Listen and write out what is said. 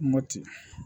Mɔti